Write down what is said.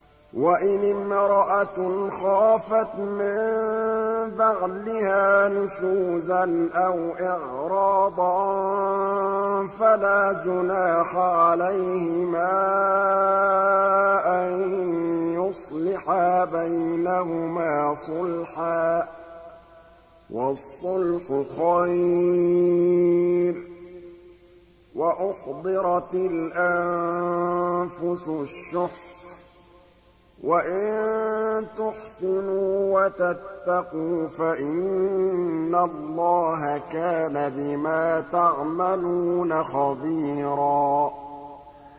وَإِنِ امْرَأَةٌ خَافَتْ مِن بَعْلِهَا نُشُوزًا أَوْ إِعْرَاضًا فَلَا جُنَاحَ عَلَيْهِمَا أَن يُصْلِحَا بَيْنَهُمَا صُلْحًا ۚ وَالصُّلْحُ خَيْرٌ ۗ وَأُحْضِرَتِ الْأَنفُسُ الشُّحَّ ۚ وَإِن تُحْسِنُوا وَتَتَّقُوا فَإِنَّ اللَّهَ كَانَ بِمَا تَعْمَلُونَ خَبِيرًا